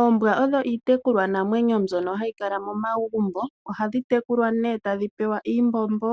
Oombwa odho iitekulwanamwenyo mbyono hayi kala momagumbo, ohadhi tekulwa nee tadhi pewa iimbombo